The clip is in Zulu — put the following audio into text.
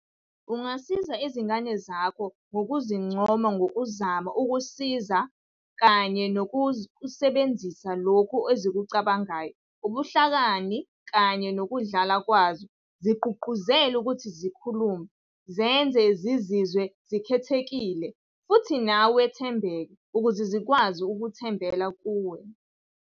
Ungasiza izingane zakho ngokuzincoma ngokuzama ukusiza kanye nangokusebenzisa lokho ezikucabangayo, ubuhlakani kanye nokudlala kwazo, zigqugquzele ukuthi zikhulume, zenze zizizwe zikhethekile, futhi nawe wethembeke, ukuze zikwazi ukuthembela kuwe.